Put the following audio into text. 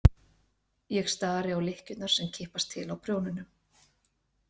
Ég stari á lykkjurnar sem kippast til á prjónunum.